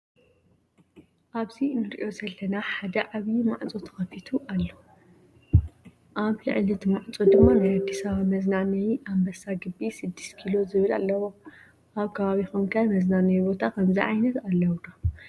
ኣብዚ እንርእዮ ዘለና ሓደ ዓበይ ማዕፆ ተከፊቱ ኣሎ። ኣብ ልዕሊ እቲ ማዕፆ ድማ ናይ "ኣዲስ ኣበባ መዝናነይ ኣንበሳ ግቢ 6 ኪሎ" ዝብል ኣለዎ። ኣብ ከባቢኩም ከ መዝናነይ ቦታ ከምዚ ዓይነት ኣለው ድ?